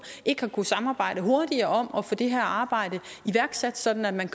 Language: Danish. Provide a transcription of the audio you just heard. ikke har kunnet samarbejde hurtigere om at få det her arbejde iværksat sådan at man